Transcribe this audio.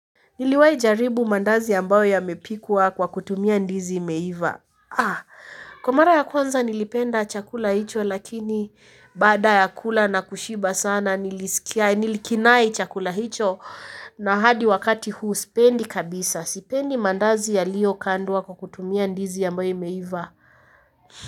Niliwa jaribu mandazi ambayo yamepikwa kwa kutumia ndizi imeiva. Kwa mara ya kwanza nilipenda chakula hicho lakini baada ya kula na kushiba sana nilisikiai nilikinae chakula hicho na hadi wakati huu sipendi kabisa sipendi mandazi yalio kandwa kwa kutumia ndizi ambayo imeivaa.